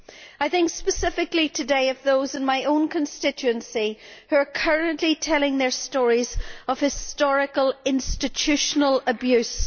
I think specifically today of those in my own constituency who are currently telling their stories of historical institutional abuse.